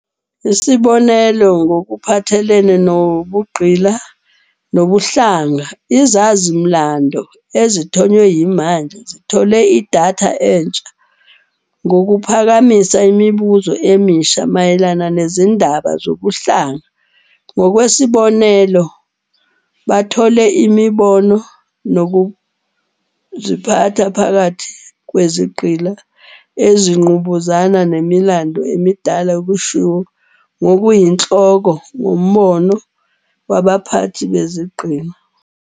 Isibonelo, ngokuphathelene nobugqila nobuhlanga, izazi-mlando, ezithonywe yimanje, zithole idatha entsha ngokuphakamisa imibuzo emisha mayelana nezindaba zobuhlanga. Ngokwesibonelo, bathole imibono nokuziphatha phakathi kwezigqila ezingqubuzana nemilando emidala eshiwo ngokuyinhloko ngombono wabaphathi bezigqila.